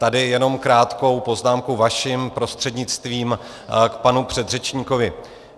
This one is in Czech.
Tady jenom krátkou poznámku vaším prostřednictvím k panu předřečníkovi.